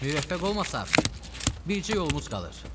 Müvəffəq olmasaq, bircə yolumuz qalır.